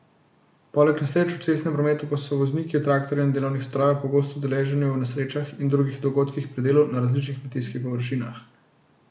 Poleg nesreč v cestnem prometu pa so vozniki traktorjev in delovnih strojev pogosto udeleženi v nesrečah in drugih dogodkih pri delu na različnih kmetijskih površinah.